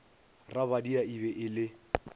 rabadia e be e le